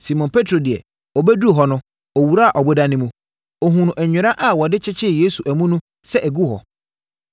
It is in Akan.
Simon Petro deɛ, ɔbɛduruu hɔ no, ɔwuraa ɔboda no mu. Ɔhunuu nwera a wɔde kyekyeree Yesu amu no sɛ ɛgu hɔ,